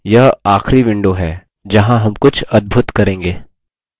यह आखरी विंडो है जहाँ हम कुछ अद्भूत करेंगे